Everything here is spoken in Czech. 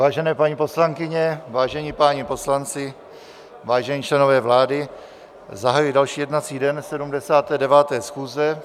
Vážené paní poslankyně, vážení páni poslanci, vážení členové vlády, zahajuji další jednací den 79. schůze.